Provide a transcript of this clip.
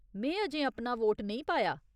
में अजें अपना वोट नेईं पाया ।